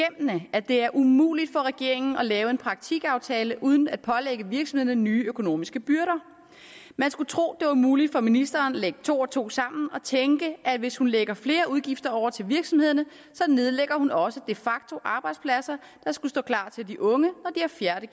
at det er umuligt for regeringen at lave en praktikaftale uden at pålægge virksomhederne nye økonomiske byrder man skulle tro at det var muligt for ministeren at lægge to og to sammen og tænke at hvis hun lægger flere udgifter over til virksomhederne nedlægger hun også de facto arbejdspladser der skulle stå klar til de unge